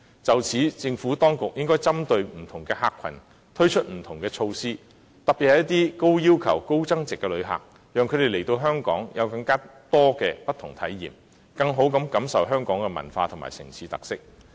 就此，政府當局應針對不同客群，推出不同措施，特別是一些高要求及高增值的旅客，讓他們來到香港能有更多不同的體驗，以致能更好地感受香港的文化和城市特色。